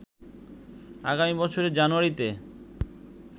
আগামী বছরের জানুয়ারিতে